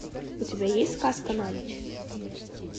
у тебя есть сказка на ночь